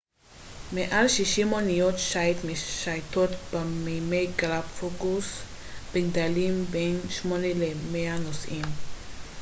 מעל 60 אוניות שייט משייטות במימי הגלפגוס בגדלים בין 8 ל-100 נוסעים